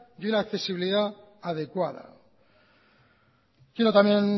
y la accesibilidad adecuada quiero también